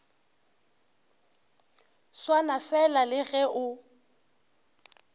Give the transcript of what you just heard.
swana fela le ge o